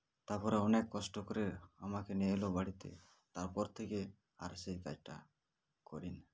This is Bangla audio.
তারপরে অনেক কষ্ট করে আমাকে নিয়ে এলো বাড়িতে তারপর থেকে আর সেই কাইজটা করিনা